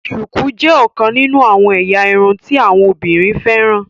shuku jé ọkàn nínú àwọn ẹ̀yà irun tí àwọn obìnrin féràn